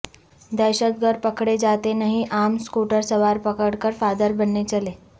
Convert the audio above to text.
دھشت گرد پکڑے جاتے نہیں عام اسکوٹر سوار پکڑ کر پہادر بننے چلے